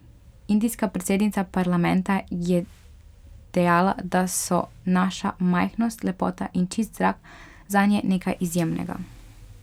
Indijska predsednica parlamenta je dejala, da so naša majhnost, lepota in čist zrak zanje nekaj izjemnega.